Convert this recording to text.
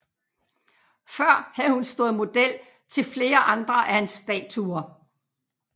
Før havde hun stået model til flere andre af hans statuer